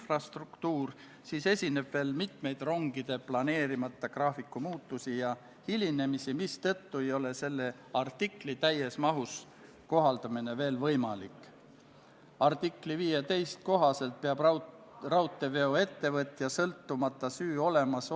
Austatud Riigikogu, panen hääletusele Vabariigi Valitsuse esitatud Riigikogu otsuse "Kaitseväe kasutamise tähtaja pikendamine Eesti riigi rahvusvaheliste kohustuste täitmisel konfliktijärgsel rahutagamismissioonil Liibanonis, Iisraelis, Egiptuses ja Süürias" eelnõu 67.